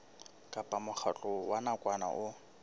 kapa mokgatlo wa nakwana o